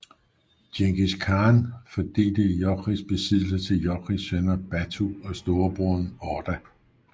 Djengis Khan fordelte Jochis besiddelser til Jochis sønner Batu og storebroren Orda